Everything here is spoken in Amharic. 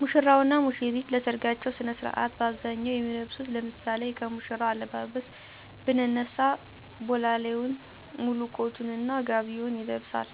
ሙሽራው እና ሙሽሪት ለሰርጋቸው ስነ ስርዓት በአብዛኛው የሚለብሱት ለምሳሌ ከሙሽራው አለባበስ ብንነሳ ቦላሌውን፣ ሙሉ ኮቱን እና ጋቢውን ይለብሳል፤